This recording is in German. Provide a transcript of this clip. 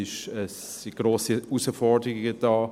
Es sind grosse Herausforderungen da.